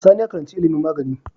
Sani ya karaci ilimin magani